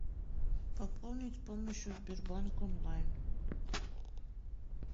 пополнить с помощью сбербанк онлайн